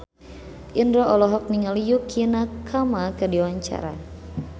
Indro olohok ningali Yukie Nakama keur diwawancara